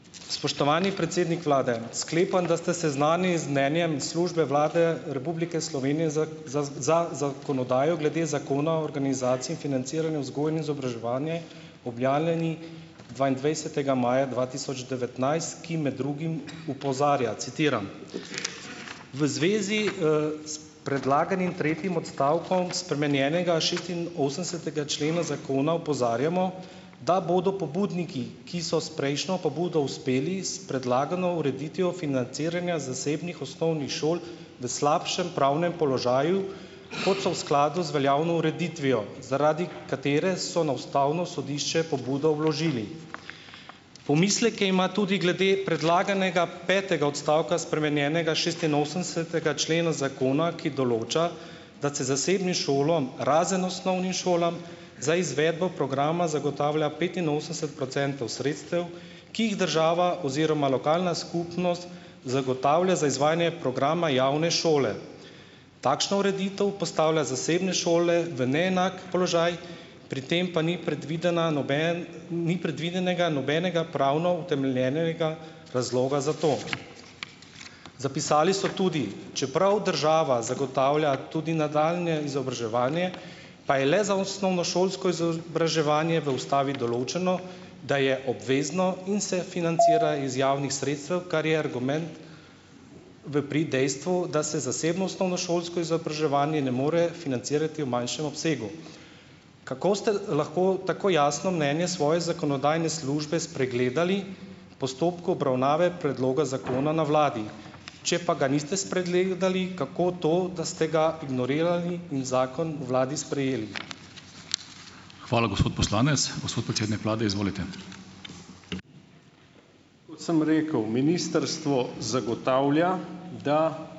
Spoštovani predsednik vlade . Sklepam, da ste seznanjeni z mnenjem službe Vlade Republike Slovenije za, za, za zakonodajo glede Zakona o organizaciji in financiranju vzgoje in izobraževanje objavljenim dvaindvajsetega maja dva tisoč devetnajst, ki med drugim opozarja, citiram: "V zvezi, s predlaganim tretjim odstavkom spremenjenega šestinosemdesetega člena zakona opozarjamo, da bodo pobudniki, ki so s prejšnjo pobudo uspeli s predlagano ureditvijo financiranja zasebnih osnovnih šol v slabšem pravnem položaju, kot so v skladu z veljavno ureditvijo, zaradi katere so na ustavno sodišče pobudo vložili. Pomisleke ima tudi glede predlaganega petega odstavka spremenjenega šestinosemdesetega člena zakona, ki določa, da se zasebnim šolam, razen osnovnim šolam, za izvedbo programa zagotavlja petinosemdeset procentov sredstev, ki jih država oziroma lokalna skupnost zagotavlja za izvajanje programa javne šole. Takšno ureditev postavlja zasebne šole v neenak položaj, pri tem pa ni predvidena ni predvidenega nobenega pravno utemeljenega razloga za to . Zapisali so tudi , čeprav država zagotavlja tudi nadaljnje izobraževanje, pa je le za osnovnošolsko izobraževanje v ustavi določeno, da je obvezno in se financira iz javnih sredstev, kar je argument v prid dejstvu, da se zasebno osnovnošolsko izobraževanje ne more financirati v manjšem obsegu. Kako ste lahko tako jasno mnenje svoje zakonodajne službe spregledali, postopku obravnave predloga zakona na vladi? Če pa ga niste spregledali, kako to, da ste ga ignorirali in zakon v vladi sprejeli?